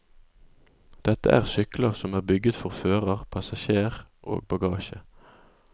Dette er sykler som er bygget for fører, passasjer og bagasje.